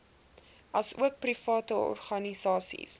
asook private organisasies